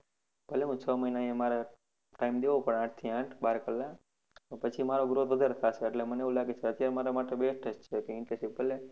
ભલે છ મહિના મારે time દેવો પડે આઠ થી આઠ બાર કલાક પછી મારો growth વધારે થશે એટલે મને એવું લાગે છે કે આ મારા માટે best જ છે, એટલે internship કરી લવ.